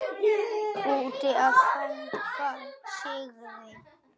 Úti að fagna sigri.